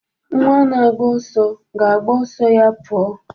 Nwa na-agba ọsọ ga-agba ọsọ ya pụọ